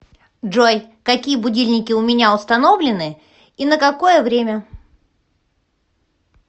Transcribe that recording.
джой какие будильники у меня установлены и на какое время